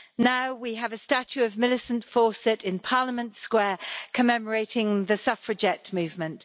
now we have a statue of Millicent Fawcett in Parliament Square, commemorating the Suffragette movement.